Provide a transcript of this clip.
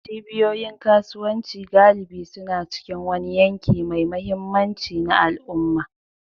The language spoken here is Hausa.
Cibiyoyin kasuwanci galibi suna cikin wani yanki mai mahimmanci na al'umma.